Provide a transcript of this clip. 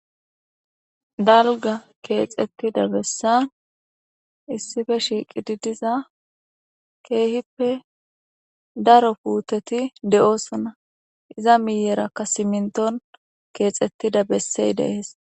dalgga keexettida bessan issife shiiqi diza ke'ihippe daro puuteti de'ossona iza miiyerakka simintton keexettida bessey de'ees